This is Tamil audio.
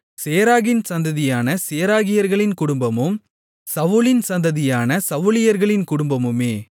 சேராகின் சந்ததியான சேராகியர்களின் குடும்பமும் சவுலின் சந்ததியான சவுலியர்களின் குடும்பமுமே